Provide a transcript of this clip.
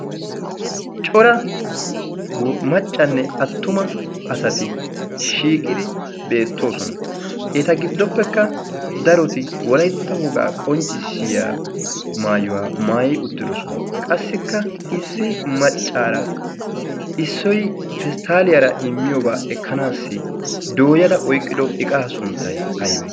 Cora maccanne attuma asati shiiqidi beettoosona. Eta giddoppekka daroti wolaytta wogaa qonccissiya maayuwaa maayi uttidosona qassikka issi maccaara issoy pesttaaliyaara immiyoobaa ekkanaassi dooyada oyqqidoy qaha sunttay aybe?